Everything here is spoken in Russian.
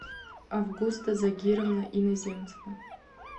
августа загировна иноземцева